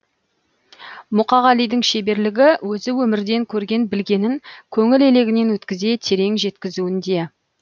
мұқағалидің шеберлігі өзі өмірден көрген білгенін көңіл елегінен өткізе терең жеткізуінде